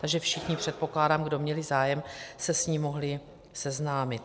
Takže všichni, předpokládám, kdo měli zájem, se s ní mohli seznámit.